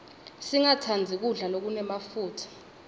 singatsandzi kudla lokunemafutsa